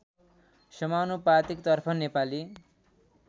समानुपातिकतर्फ नेपाली